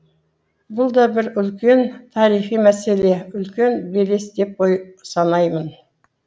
бұл да бір үлкен тарихи мәселе үлкен белес деп санаймын